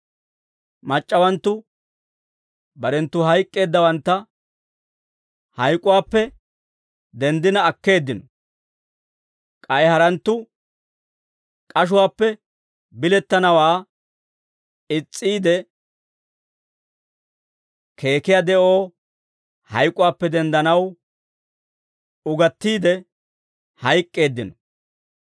Mac'c'awanttu barenttu hayk'k'eeddawantta hayk'uwaappe denddina akkeeddino. K'ay haranttu k'ashuwaappe bilettanawaa is's'iide, keekkiyaa de'oo hayk'uwaappe denddanaw, ugatiide hayk'k'eeddino.